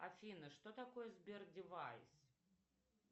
афина что такое сбер девайс